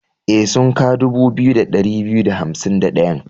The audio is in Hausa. E, sunka dubu biyu da ɗari biyu da hansim da ɗayan.